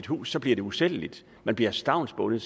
huset bliver usælgeligt man bliver stavnsbundet